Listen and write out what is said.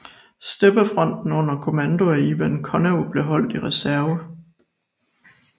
Steppefronten under kommando af Ivan Konev blev holdt i reserve